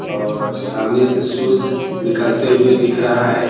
और सामने से सुर्ज निकलते हुए दिख रहा है।